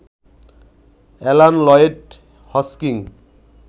Alan Lloyd Hodgkin